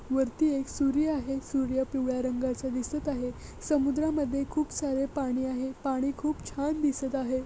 वरती एक सूर्य आहे सूर्य पिवळ्या रंगाचा दिसत आहे समुद्रामध्ये खूप सारे पाणी आहे पाणी खूप छान दिसत आहे.